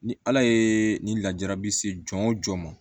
Ni ala ye nin lajarabi se jɔn jɔn ma